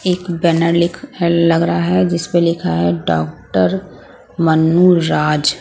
एक बैनर लिख लग रहा है जिस पर लिखा है डॉक्टर मनुराज--